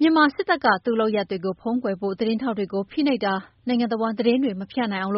မြန်မာစစ်တပ်က သူ့လုပ်ရပ်တွေ ဖုံးကွယ်ဖို့ သတင်းထောက်တွေကို ဖိနှိပ်တာ၊ နိုင်ငံတဝှမ်းသတင်းတွေမဖြန့်နိုင်အောင်